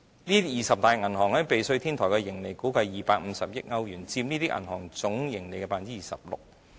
這二十大銀行在避稅天堂的盈利估計達250億歐元，佔這些銀行總盈利 26%。